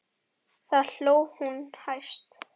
Þá hló hún hæst.